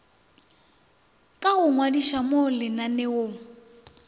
ka go ngwadiša mo lenaneong